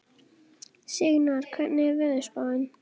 Signar, hvernig er veðurspáin?